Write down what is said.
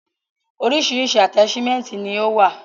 Orísirísi ataṣimẹnti ni o wa.